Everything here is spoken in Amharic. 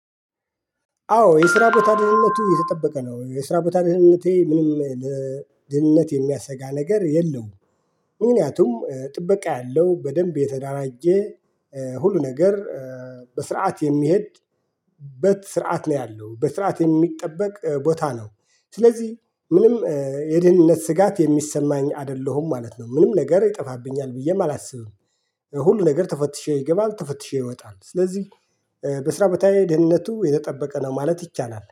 አዎ የስራ ቦታ ደህንነቱ የተጠበቀ ነው የስራ ቦታ ደህንነቴ ምንም ለደህንነት የሚያሰጋ ነገር የለውም። ምክንያቱም ጥበቃ ያለው በደንብ የተዳራጀ ሁሉ ነገር በስርዓት የሚሄድ። በስርዓት ነው ያለው በስርዓት የሚጠበቅ ቦታ ነው። ስለዚህ ምንም የደህንነት ስጋት የሚሰማኝ አይደለሁም ማለት ነው። ምንም ነገር ይጠፋብኛል ብዬም አላስብም። ሁሉ ነገር ተፈትሼ ይገባል ተፈትሼ ይወጣል። ስለዚህ በስራ ቦታዬ ድህንነቱ የተጠበቀ ነው ማለት ይቻላል